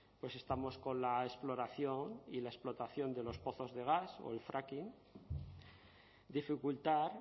pues estamos con la exploración y la explotación de los pozos de gas o el fracking dificultar